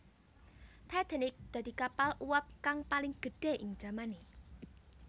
Titanic dadi kapal uwab kang paling gedhé ing jamané